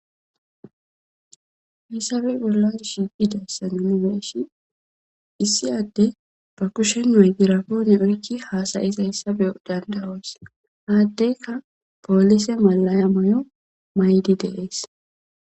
Isabe bolla shiiqideysa nuuni be7ishin issi addee ba kushen maygrapone oyqqi haasayzessa be7ana dandda7oos; ha addeekka poolise mallaya mayidi de7ees.